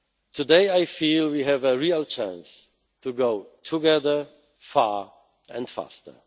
together'. Today I feel we have a real chance to go together, far and faster.